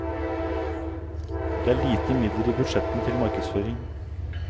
Det er lite midler i budsjettene til markedsføring.